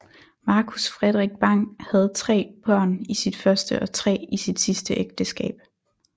Marcus Fredrik Bang havde tre børn i sit første og tre i sit sidste ægteskab